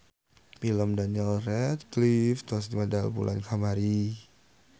Pilem Daniel Radcliffe tos medal bulan kamari